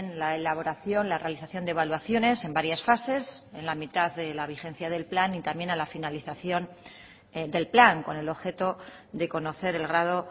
la elaboración la realización de evaluaciones en varias fases en la mitad de la vigencia del plan y también a la finalización del plan con el objeto de conocer el grado